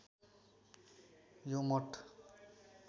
यो मठ